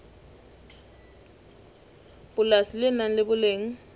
polasi le nang le boleng